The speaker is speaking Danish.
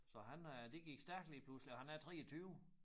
Så han er det gik stærkt lige pludselig og han er 23